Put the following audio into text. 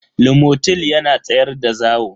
lomotil yana tsayar da zawo.